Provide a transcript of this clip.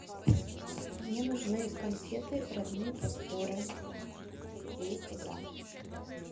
мне нужны конфеты родные просторы двести грамм